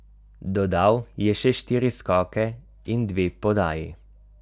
Dodal je še štiri skoke in dve podaji.